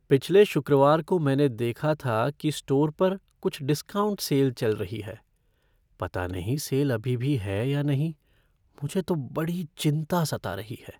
पिछले शुक्रवार को मैंने देखा था कि स्टोर पर कुछ डिस्काउंट सेल चल रही है। पता नहीं सेल अभी भी है या नहीं, मुझे तो बड़ी चिंता सता रही है।